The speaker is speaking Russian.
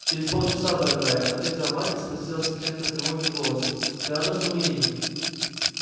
через полчаса дорогая ответила мать и спросила с оттенком тревоги в голосе ты рада что мы едем